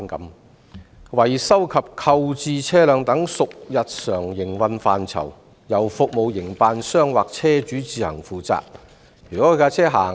他說："維修及購置車輛等屬日常營運範疇，應由服務營辦商或車主自行負責。